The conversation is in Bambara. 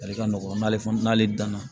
Barika nɔgɔn n'ale fana n'ale danna